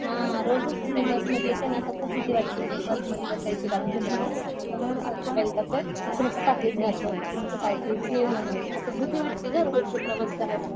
हं रोजच मी बसमध्ये येते ना तर मला खूप भीती वाटते. की बसमध्ये बसायची कारण मोबाईल, कोणाचं पाकीट जातंय कोणाचं काय असं भीती वाटते गं रोजचं प्रवास करायला.